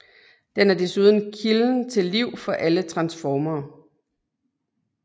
Den er desuden kilden til liv for alle Transformere